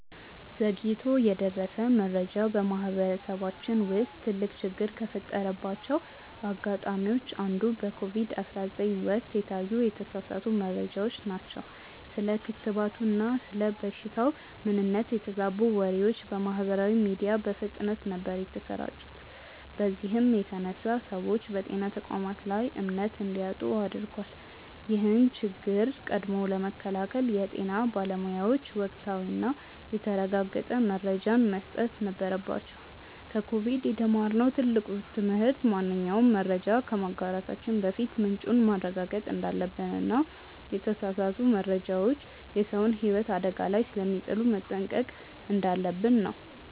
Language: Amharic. ዘግይቶ የደረሰ መረጃ በማህበረሰባችን ውስጥ ትልቅ ችግር ከፈጠረባቸው አጋጣሚዎች አንዱ በኮቪድ 19 ወቅት የታዩ የተሳሳቱ መረጃዎች ናቸው። ስለ ክትባቱና ስለ በሽታው ምንነት የተዛቡ ወሬዎች በማህበራዊ ሚዲያ በፍጥነት ነበር የተሰራጩት በዚህም የተነሳ ሰዎች በጤና ተቋማት ላይ እምነት እንዲያጡ አድርጓል። ይህን ችግር ቀድሞ ለመከላከል የጤና ባለሙያዎች ወቅታዊና የተረጋገጠ መረጃን መስጠት ነበረባቸው። ከኮቪድ የተማርነው ትልቁ ትምህርት ማንኛውንም መረጃ ከማጋራታችን በፊት ምንጩን ማረጋገጥ እንዳለብንና የተሳሳቱ መረጃዎች የሰውን ህይወት አደጋ ላይ ስለሚጥሉ መጠንቀቅ እንዳለብን ነው።